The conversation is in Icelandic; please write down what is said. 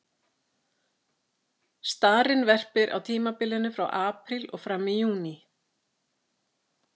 Starinn verpir á tímabilinu frá apríl og fram í júní.